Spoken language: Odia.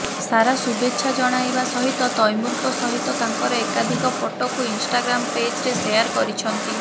ସାରା ଶୁଭେଚ୍ଛା ଜଣାଇବା ସହିତ ତୈମୁରଙ୍କ ସହିତ ତାଙ୍କର ଏକାଧିକ ଫଟୋକୁ ଇନ୍ଷ୍ଟାଗ୍ରାମ୍ ପେଜ୍ରେ ଶେଆର୍ କରିଛନ୍ତି